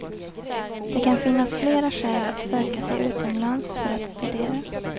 Det kan finnas flera skäl att söka sig utomlands för att studera.